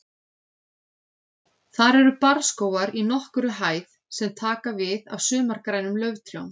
Þar eru barrskógar í nokkurri hæð sem taka við af sumargrænum lauftrjám.